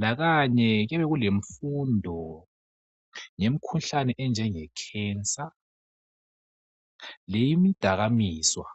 Lakanye kuyabe kulemfundo ngemkhuhlane enjengekhensa leyemidakamizwa.